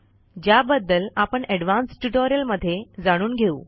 ज्याबद्दल आपण ऍडव्हान्स ट्युटोरियलमध्ये जाणून घेऊ